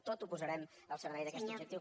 tot ho posarem al servei d’aquest objectiu